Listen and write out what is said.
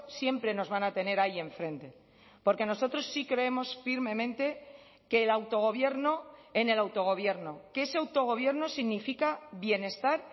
siempre nos van a tener ahí enfrente porque nosotros sí creemos firmemente que el autogobierno en el autogobierno que ese autogobierno significa bienestar